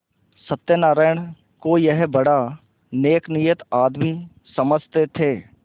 सत्यनाराण को यह बड़ा नेकनीयत आदमी समझते थे